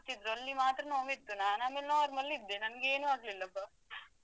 ಅಲ್ಲಿ ಮಾತ್ರ ನೋವುವಿತ್ತು ನಾನು ಆಮೇಲೆ normal ಇದ್ದೆ ನನ್ಗೆ ಏನು ಆಗ್ಲಿಲ್ಲಾ ಅಬ್ಬಾ.